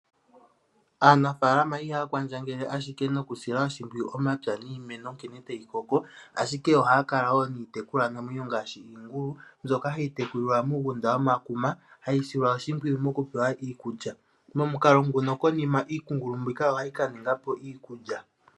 Aanafaalama ihaya kwandjengele ashike nokusila oshimpwiyu omapya niimeno nkene tayi koko, ashike ohaya kala wo niitekulwanamwenyo ngaashi iingulu, mbyoka hayi tekulilwa muugunda womakuma hayi silwa oshimpwiyu mokupewa iikulya. Konima iingulu mbika ohayi ka ninga po iikulya.